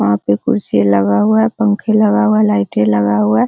वहां पे कुर्सी लगा हुआ है पंखे लगा हुआ लाइटे लगा हुआ है।